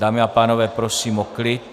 Dámy a pánové, prosím o klid!